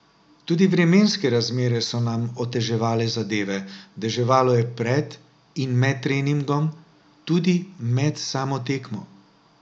Tudi vremenske razmere so nam oteževale zadeve, deževalo je pred in med treningom, tudi med samo tekmo.